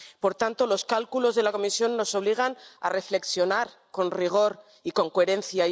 Por tanto, los cálculos de la Comisión nos obligan a reflexionar con rigor y con coherencia.